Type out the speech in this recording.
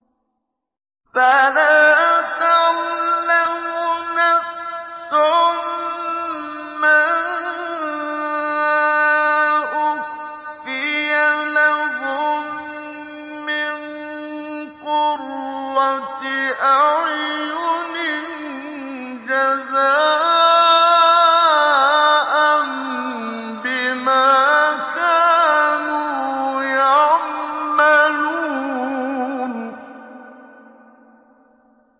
فَلَا تَعْلَمُ نَفْسٌ مَّا أُخْفِيَ لَهُم مِّن قُرَّةِ أَعْيُنٍ جَزَاءً بِمَا كَانُوا يَعْمَلُونَ